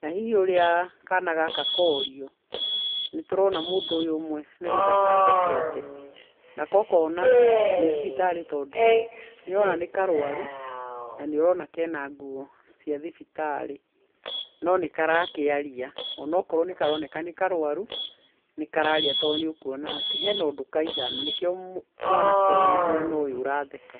Na hihi ũrĩa kana gaka korio nĩ tũrona mũndũ ũmwe nĩ gũtheka athekete na ko ukona ni thibitarĩ tondũ ni ũrona nĩ karũaru na nĩ ũrona ke na nguo cia thibitarĩ no nĩ karakĩaria o na okorwo nĩ karũaru ni kararia tondũ ni ũkuona atĩ he na ũndũ kauga na nĩkĩo mwanake ũyũ wĩ mwena ũyũ ũratheka.